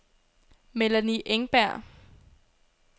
Melanie Engberg